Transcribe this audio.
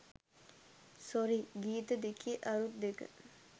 sorry ගීත දෙකේ අරුත් දෙක